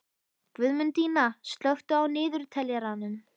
Guðmundína, slökktu á niðurteljaranum.